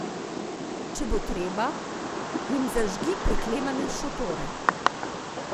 Če bo treba, jim zažgi preklemane šotore.